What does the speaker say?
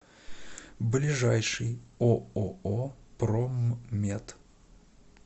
ближайший ооо проммет